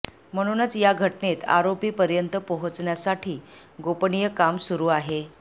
म्हणूनच या घटनेत आरोपी पर्यंत पोहोचण्यासाठी गोपनीय काम सुरू आहे